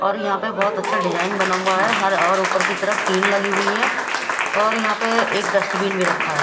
और यहां पे बहुत अच्छा डिजाइन बना हुआ है हर ओर ऊपर की तरफ टीन लगी हुई है और यहां पर एक डस्टबिन भी रखा है।